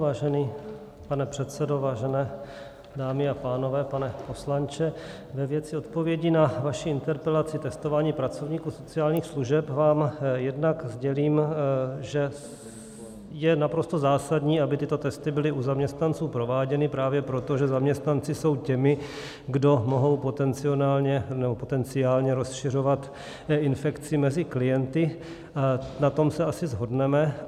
Vážený pane předsedo, vážené dámy a pánové, pane poslanče, ve věci odpovědi na vaši interpelaci testování pracovníků sociálních služeb vám jednak sdělím, že je naprosto zásadní, aby tyto testy byly u zaměstnanců prováděny, právě proto, že zaměstnanci jsou těmi, kdo mohou potenciálně rozšiřovat infekci mezi klienty, na tom se asi shodneme.